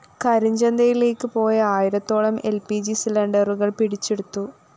കരിഞ്ചന്തയിലേക്ക് പോയ ആയിരത്തോളം L P G സിലിണ്ടറുകള്‍ പിടിച്ചെടുത്തു